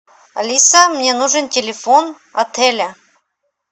алиса мне нужен телефон отеля